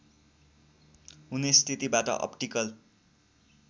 हुने स्थितिबाट अप्टिकल